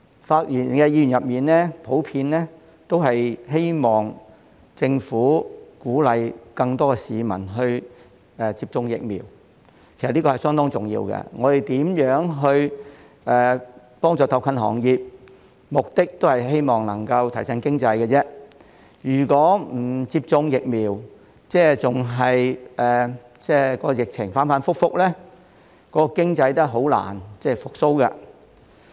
發言的議員普遍希望政府鼓勵更多市民接種疫苗，其實這是相當重要的，不論我們如何幫助特困行業，目的也是希望能夠提振經濟，如果市民不接種疫苗，疫情仍然反覆，經濟也是難以復蘇的。